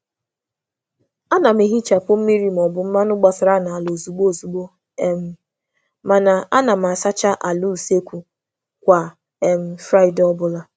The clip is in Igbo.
A na m sachaa mmiri ma ọ bụ ihe gbapụtara ozugbo, ma na-emecha ala ụlọ nri um kwa Fraịdee. um